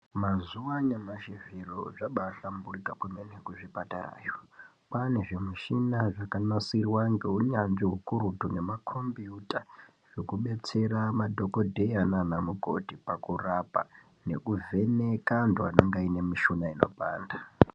Mazuva anyamashi zviro zvabaahlamburika kwemene kuzvipatarayo. Kwaane zvimushina zvakanasirwa ngeunyanzvi hukurutu nemakombiyuta zvekudetsera madhokodheya naana mukoti pakura nekuvheneka antu anenge aine mishuna inopanda.